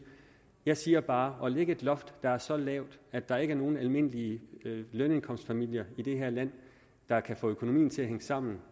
jeg siger bare rimeligt at lægge et loft der er så lavt at der ikke er nogen almindelige lønindkomstfamilier i det her land der kan få økonomien til at hænge sammen